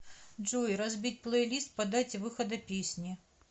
джой разбить плейлист по дате выхода песни